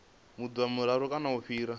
maḓuvha mararu kana u fhira